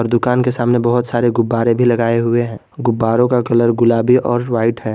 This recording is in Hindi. दुकान के सामने बहोत सारे गुब्बारे भी लगाए हुए हैं गुब्बारो का कलर गुलाबी और व्हाइट है।